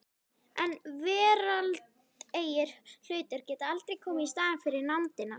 En veraldlegir hlutir geta aldrei komið í staðinn fyrir nándina.